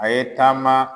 A ye taama